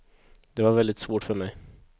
Det var väldigt svårt för mig.